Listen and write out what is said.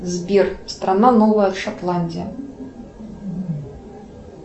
сбер страна новая шотландия